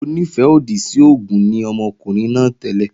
Onífẹ́-òdì sí oògùn ni ọmọkùnrin náà tẹ́lẹ̀